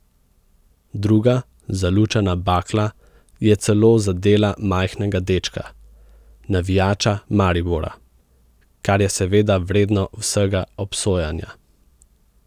Druga zalučana bakla je celo zadela majhnega dečka, navijača Maribora, kar je seveda vredno vsega obsojanja.